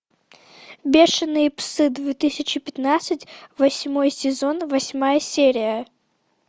бешеные псы две тысячи пятнадцать восьмой сезон восьмая серия